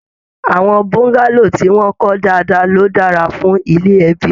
Àwọn bọ́ngálò tí wọn kọ dáadáa ló dára fún ilé ẹbi.